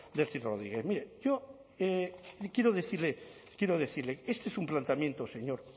delcy rodríguez mire yo quiero decirle este es un planteamiento señor